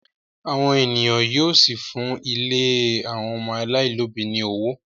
àwọn ènìyàn yíò sí fún ílé àwọn ọmọ alailòbí ní ọwọ.